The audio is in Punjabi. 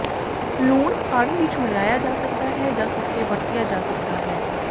ਲੂਣ ਪਾਣੀ ਵਿਚ ਮਿਲਾਇਆ ਜਾ ਸਕਦਾ ਹੈ ਜਾਂ ਸੁੱਕੇ ਵਰਤਿਆ ਜਾ ਸਕਦਾ ਹੈ